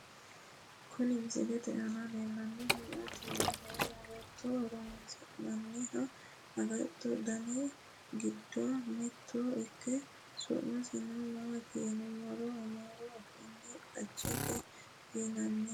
Kuni misilete aana leellannohu maati yiniro agate ho'ronsi'nanniha agattote Dani giddo mitto ikke su'masino maati yiniro amaaru afiinni xajjete yinanni